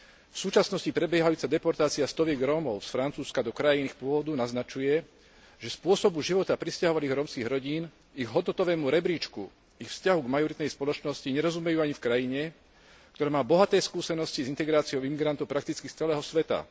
V súčasnosti prebiehajúca deportácia stoviek Rómov z Francúzska do krajín ich pôvodu naznačuje, že spôsobu života prisťahovaných rómskych rodín, ich hodnotovému rebríčku, ich vzťahu k majoritnej spoločnosti nerozumejú ani v krajine, ktorá má bohaté skúsenosti s integráciou imigrantov prakticky z celého sveta.